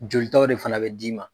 Jolitɔw de fana bɛ d'i ma.